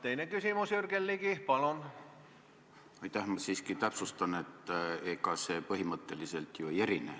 Eesti sissemakse ei suurene, Eesti kohustused ei suurene, küll aga suureneb Eesti võimalus sealt laenu võtta.